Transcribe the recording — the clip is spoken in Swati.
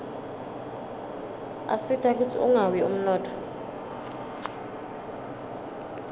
asita kutsi ungawi umnotfo